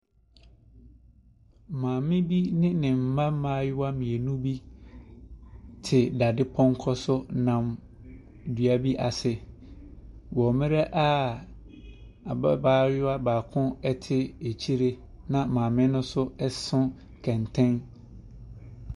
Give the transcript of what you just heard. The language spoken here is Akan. Maame bi ne ne mma mmaayewa mmienu bi te dadepɔnkɔ so nam dua bi ase wɔ mmrɛ a ababaayewa baako ɛte akyire na maame no nso ɛso kɛntɛn.